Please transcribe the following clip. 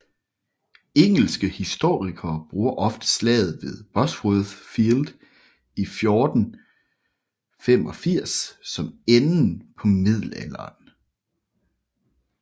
Engelske historikere bruger ofte slaget ved Bosworth Field i 1485 som enden på middelalderen